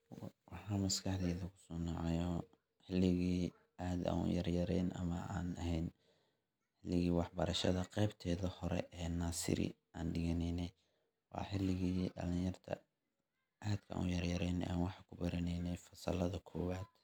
maxaa maskaxdeyda kusoo dhacaayo berigii aad an uyaryaran ama an ehen berigii wax barashada qebteda hore ee naaseri an dhiganeyne waa xiligii dhalin yarta aad ban uyaryarene an wax kubaraneyne fasalada kobad